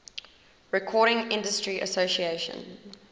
recording industry association